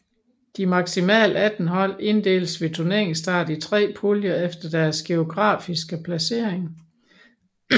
De maksimalt 18 hold inddeles ved turneringsstart i 3 puljer efter deres geografiske placering